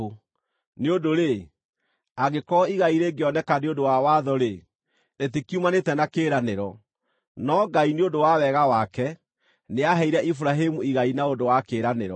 Nĩ ũndũ-rĩ, angĩkorwo igai rĩngĩoneka nĩ ũndũ wa watho-rĩ, rĩtikiumanĩte na kĩĩranĩro; no Ngai, nĩ ũndũ wa wega wake, nĩaheire Iburahĩmu igai na ũndũ wa kĩĩranĩro.